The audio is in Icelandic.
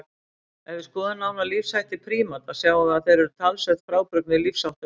Ef við skoðum nánar lífshætti prímata sjáum við að þeir eru talsvert frábrugðnir lífsháttum hunda.